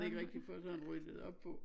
Ikke rigtig få sådan ryddet op på